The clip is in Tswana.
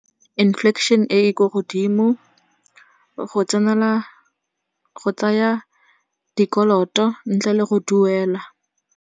E e ko godimo, go tsaya dikoloto ntle le go duela.